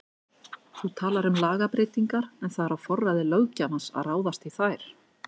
Þú talar um lagabreytingar en það er á forræði löggjafans að ráðast í þær?